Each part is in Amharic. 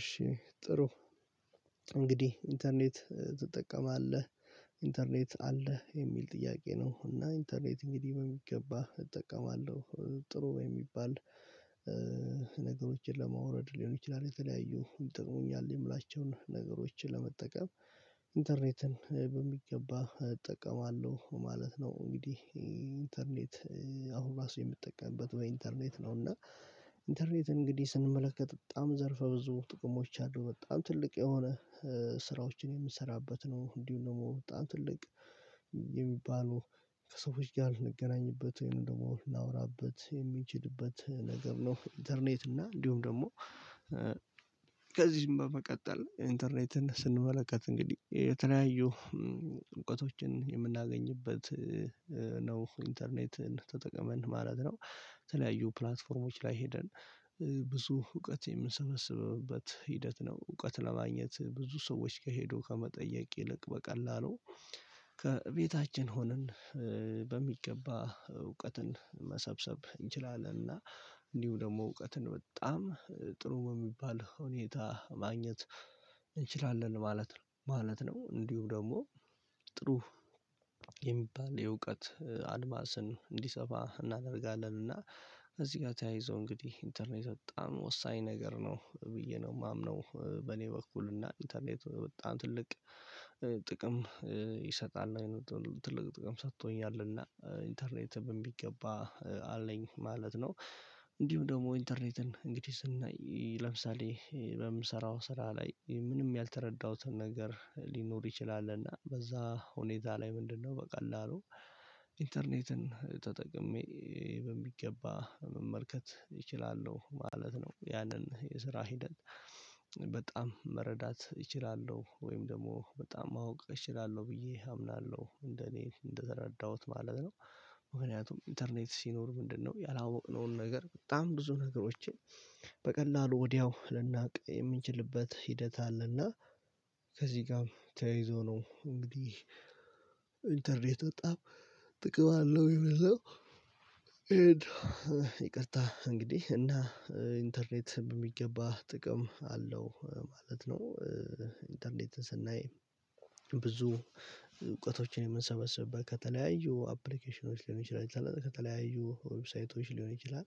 እሺ ጥሩ እንግዲህ ኢንተርኔት ትጠቀማለህ? ኢንተርኔት አለህ የሚል ጥያቄ ነው እና ኢንተርኔት እንግዲህ በሚገባ እጠቀማለሁ። ጥሩ የሚባል ነገሮችን ለማውረድ ሊሆን ይችላል የተለያዩ ይጠቅሙኛል የምላቸውን ነገሮችን ለመጠቀም ኢንተርኔትን በሚገባ እጠቀማለሁ ማለት ነው። እንግዲህ ኢንተርኔት አሁን ራሱ የምጠቀምበት በ ኢንተርኔት ነው። እና ኢንተርኔት እንግዲህ ስንመለከት በጣም ዘርፈ ብዙ ጥቅሞች አሉ በጣም ትልቅ የሆነ ስራዎችን የምንሰራበት ነው እንዲሁ ደግሞ በጣም ትልቅ የሚባሉ ከሰዎች ጋር እንገናኝበት ወይም ደግሞ ላወራበት የሚችልበት ነገር ነው። ኢንተርኔት እና እንዲሁም ደግሞ ከዚህም በመቀጠል ኢንተርኔትን ስንመለከት እንግዲህ የተለያዩ እውቀቶችን የምናገኝበት ኢንተርኔትን ተጠቀመን ማለት ነው። በተለያዩ ፕላትፎርሞች ላይ ሄደን ብዙ እውቀት የምንሰበስብበት ሂደት ነው እውቀት ለማግኘት ብዙ ሰዎች ጋሄዶ ከመጠየቅ ይልቅ በቀላሉ ከቤታችን ሆነን በሚገባ እውቀትን መሰብሰብ እንችላለን እና እንዲሁ ደግሞ እውቀትን በጣም ጥሩ የሚባል ሁኔታ ማግኘት እንችላለን ማለት ነው። እንዲሁ ደግሞ ጥሩ የሚባል የእውቀት አድማስን እንዲሰፋ እናደርጋለን እና እዚህ ጋር ተያይዞ እንግዲህ ኢንተርኔት በጣም ወሳኝ ነገር ነው ብዬ ነው የማምነው። በእኔ በኩል እና ኢንተርኔት በጣም ትልቅ ጥቅም ይሰጣል ትልቅ ጥቅም ሰጥቶኛልና ኢንተርኔት በሚገባ አለኝ ማለት ነው። እንዲሁ ደግሞ ኢንተርኔትን እንግዲህ ስናይ ለምሳሌ በምሰራው ስራ ላይ ምንም ያልተረዳሁትን ነገር ሊኖር ይችላልና በዛ ሁኔታ ላይ ምንድነው በቀላሉ ኢንተርኔትን ተጠቅሜ በሚገባ መመልከት እችላለሁ ማለት ነው። ያንን የስራ ሂደት በጣም መረዳት እችላለሁ ወይም ደግሞ በጣም ማወቅ እችላለሁ ብዬ አምናለሁ እንደ እኔ እንደተረዳሁት ማለት ነው። ምክንያቱም ኢንተርኔት ሲኖር ምንድነው ያላወቅነውን ነገር በጣም ብዙ ነገሮችን በቀላሉ ወዲያው ልናውቅ የምንችልበት ሂደት አለና። ከዚህ ጋርም ተያይዞ ነው እንግዲህ ኢንተርኔት በጣም ጥቅም አለው ይላል። ይቅርታ እንግዲህ እና ኢንተርኔት በሚገባ ጥቅም አለው ማለት ነው። ኢንተርኔትን ስናይ ብዙ እውቀቶችን የምንሰበስብበት ከተለያዩ አፕሊኬሽኖች ሊሆን ይችላል ከተለያዩ ዌብሳይቶች ሊሆን ይችላል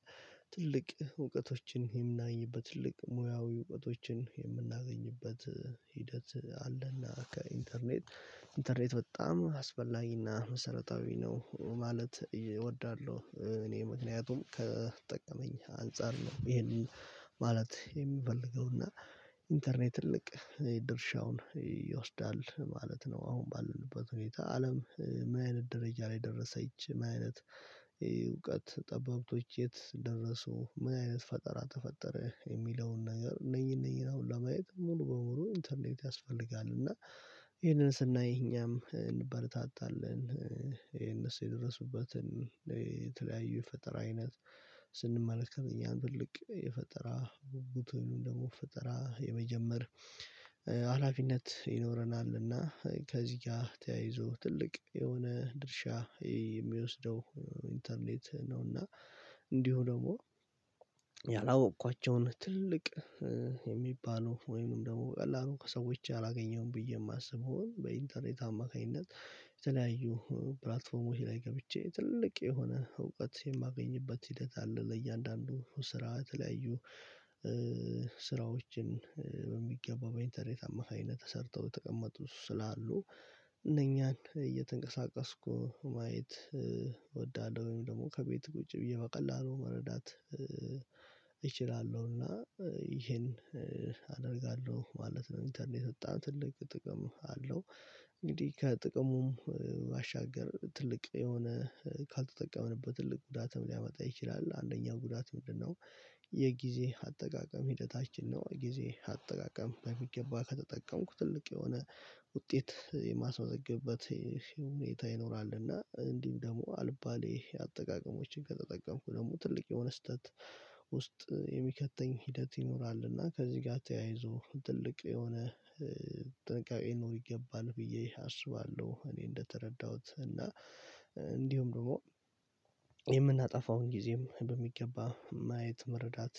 ትልቅ እውቀቶችን የምናገኝበት ትልቅ ሙያዊ እውቀቶችን የምናገኝበት ሂደት አለና ከኢንተርኔት ኢንተርኔት በጣም አስፈላጊና መሰረታዊ ነው። ማለት እወዳለሁ እኔ ምክንያቱም ከጠቀመኝ አንፃር ነው ይሄንን ማለት የምፈልገውና ኢንተርኔት ትልቅ ድርሻውን ይወስዳል ማለት ነው። አሁን ባለንበት ሁኔታ አለም ምንአይነት ደረጃ ላይ ደረሰች ምንአይነት እውቀት ጠበብቶች የት ደረሱ ምን አይነት ፈጠራ ተፈጠረ የሚለውን ነገር እነኚን እነኚን አሁን ለማየት ሙሉ በሙሉ ኢንተርኔት ያስፈልጋል። እና ይሄንን ስናይ እኛም እንበረታታለን ይሄ እነሱ የደረሱበትን የተለያዩ የፈጠራ አይነት ስንመለከት እኛን ትልቅ የፈጠራ ጉጉት ደግሞ ፈጠራ የመጀመር ሀላፊነት ይኖረናልና ከዚህ ጋር ተያይዞ ትልቅ የሆነ ድርሻ የሚወስደው ኢንተርኔት ነውና። እንዲሁ ደግሞ ያላወቅኳቸውን ትልቅ የሚባሉ ወይንም ደግሞ በቀላሉ ከሰዎች አላገኘውም ብዬ የማስበውን በኢንተርኔት አማካኝነት የተለያዩ ፕላትፎርሞች ላይ ገብቼ ትልቅ የሆነ እውቀት የማገኝበት ሂደት አለ። ለእያንዳንዱ ስራ ለተለያዩ ስራዎችን በሚገባ በኢንተርኔት አማካኝነት ተሰርተው የተቀመጡ ስላሉ እየተንቀሳቀስኩ ማየት እወዳለሁኝ ደግሞ ከቤቱ ቁጭ ብዬ በቀላሉ መረዳት እችላለሁና። ይሄን አደርጋለሁ ማለት ነው ኢንተርኔት በጣም ትልቅ ጥቅም አለው። እንግዲህ ከጥቅሙ ባሻገር ትልቅ የሆነ ካልተጠቀመንበት ትልቅ ጉዳትም ሊያመጣ ይችላል አንደኛው ጉዳት ምንድነው? የጊዜ አጠቃቀም ሂደታችን ነው ጊዜ አጠቃቀም በሚገባ ከተጠቀምኩ ትልቅ የሆነ ውጤት የማስመዘግብበት ሁኔታ ይኖራል እና እንዲሁም ደግሞ አልባሌ አጠቃቀሞችን ከተጠቀምኩ ደግሞ ትልቅ የሆነ ስህተት ውስጥ የሚከተኝ ሂደት ይኖራል እና ከዚህ ጋር ተያይዞ ትልቅ የሆነ ጥንቃቄ ሊኖር ይገባል ብዬ አስባለሁ። እኔ እንደተረዳሁት እና እንዲሁም ደግሞ የምናጠፋውን ጊዜም በሚገባ ማየት መረዳት